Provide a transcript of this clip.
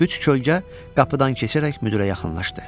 Üç kölgə qapıdan keçərək müdirə yaxınlaşdı.